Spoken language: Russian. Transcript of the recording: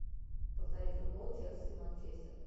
повтори футбол челси и манчестер